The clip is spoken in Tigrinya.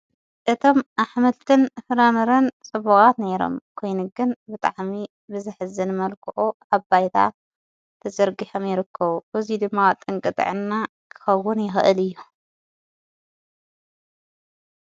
እቶም ኣሕመልትን ፍራምርን ጽቡቓት ነይሮም ኴይንግን ብጣሕሚ ብዝሕዝን መልክኦ ኣባይታ ተዘርጊሕምይርከ ወዙይ ድማዋ ጠንቅጥዕና ክኸውን ይኸእል እዩ።